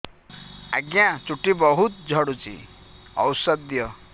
ଆଜ୍ଞା ଚୁଟି ବହୁତ୍ ଝଡୁଚି ଔଷଧ ଦିଅ